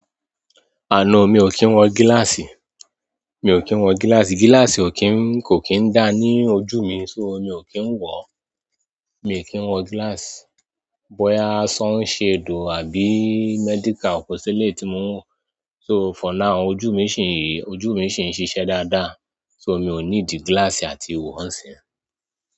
Àná mi ò kí ń wọ gíláàsì. Mi ò kí ń wọ gíláàsì, gíláàsì ò kí ń, kò kí ń dáa ní ojú mi, so mi ò kí ń wọ. Mi ò kí ń wọ gíláàsì. Boya sunshade o àbí medical o ko seleyi ti mo ń wọ, so for now ojú mi ṣì ń, ojú mi ṣì ń ṣiṣẹ́ dáadáa. So mi ò níidi gíláàsì àti wo nsin.